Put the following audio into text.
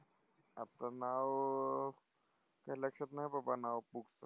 आता नावं, काय लक्षात नाही बाबा नावं books चं.